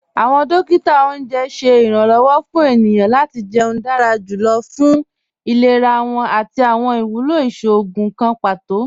Awọn dòkítà ọ̀unjẹ ṣẹ̀ iranlọ́wọ̀ fún ènìyàn lati jẹ̀ún dára jùlọ̀ fún ìlẹ̀rà wọn àti awọn iwúlọ́ ìṣòogùn kàn pátò.